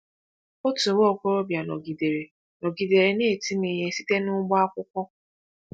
Otu nwa okorobịa nọgidere nọgidere na-eti m ihe site n’ụgbọ akwụkwọ.